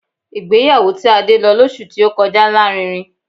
Ìgbéyàwó tí Adé lọ lọ́sù tí ó kọjá lárinrin